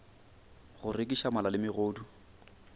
go rekiša mala le megodu